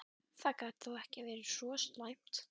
Er það ekki þess vegna sem þeir eru hérna?